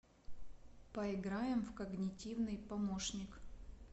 поиграем в когнитивный помощник